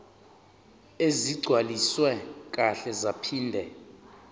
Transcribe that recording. ezigcwaliswe kahle zaphinde